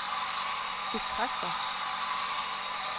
betragter